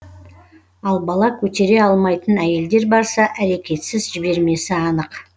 ал бала көтере алмайтын әйелдер барса әрекетсіз жібермесі анық